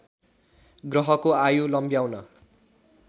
ग्रहको आयु लम्ब्याउन